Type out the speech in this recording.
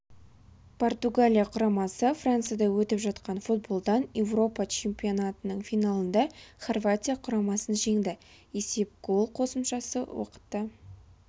португалия құрамасы францияда өтіп жатқан футболдан еуропа чемпионатының финалындада хорватия құрамасын жеңді есеп гол қосымша уақытта